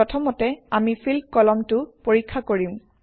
প্ৰথমতে আমি ফিল্ড কলমটো পৰীক্ষা কৰিম